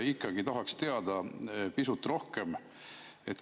Ikkagi tahaks teada pisut rohkem.